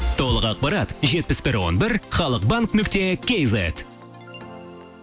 толық ақпарат жетпіс бір он бір халық банк нүкте кейзет